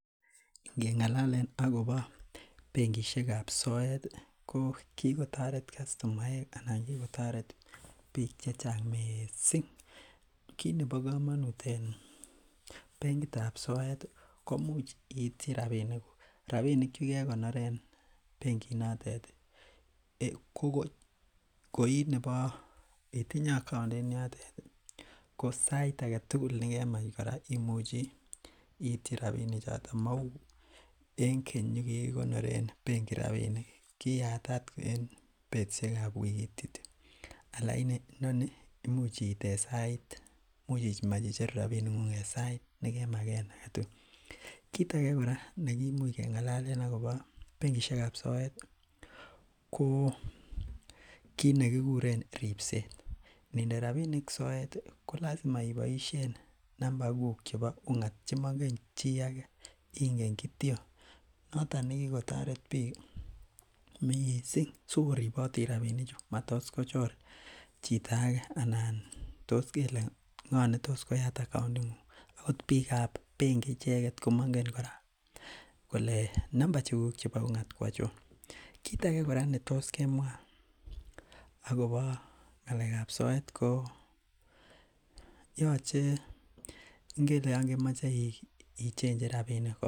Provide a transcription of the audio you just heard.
Inge ng'alalen akobo bengishekab soet ih ko kit nebo kamanut. Ki kotaret kastomaek anan kikotaret bik chechang missing. Kit nebo kamanut en bengiitab soet ih, ko imuche iityi rabinik chekekonoren beng'it notet ih , ko koi nebo anan itinye account en yoto ko sait agetugul nekemach iity rabinik choto mauu en keny yugikiko Oren bengi rabinik, kiatat en betusiekab wikit kityo. Alaini imuch icheru rabinik en sait nekemagen agetugul kit age kora neki much keng'alen akobo bengishekab soet ih ko kit nekikuren ribset. Inginde ko lasima iboisien namba kuuk chebo ung'at chemaingen chi agetugul ingen kityon noton nekikotoret bik ih missing sikoribot rabinik chu , matos kochor chito age anan tos kele ng'o netos koyatet account neng'ung'et akot bikab bengi icheket komangen kora kole namba chugug chebo ung'at ko achon. Kit age kora netos kemwa Ako bo ng'alekab soet ko yache ingele Yoon kemache ichengen rabinik